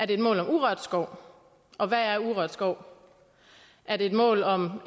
det et mål om urørt skov og hvad er urørt skov er det et mål om